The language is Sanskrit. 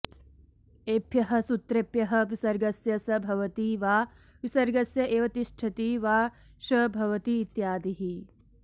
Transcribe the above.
एभ्यः सूत्रेभ्यः विसर्गस्य स् भवति वा विसर्गस्य एव तिष्ठति वा श् भवति इत्यादिः